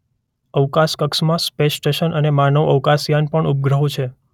અવકાશ કક્ષમાં space station અને માનવ અવકાશયાન પણ ઉપગ્રહો છે.